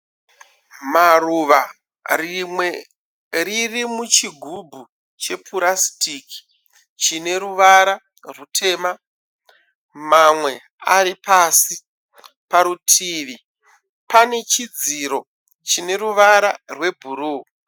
Maruva. Rimwe riri muchigubhu chepurasitiki chine ruvara rutema. Mamwe ari pasi. Parutivi pane chidziro chine ruvara rwebhuruu.